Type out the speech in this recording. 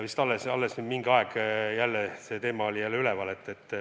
Vist alles äsja mingi aeg oli see teema jälle üleval.